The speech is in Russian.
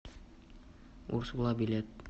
урсула билет